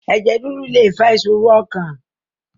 Ẹ̀jẹ̀ rírú lè fa ìṣòro ọkàn